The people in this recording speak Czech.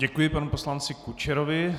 Děkuji panu poslanci Kučerovi.